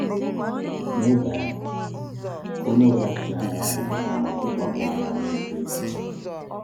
N’oge ahụ, onye ọbụla sichara nri abalị ga-amalite gbapụwa n’ama egwuregwu